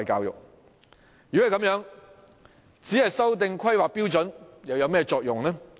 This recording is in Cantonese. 如果是這樣，只是修訂規劃標準有何作用呢？